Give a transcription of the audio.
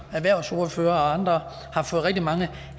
erhvervsordførere og andre har fået rigtig mange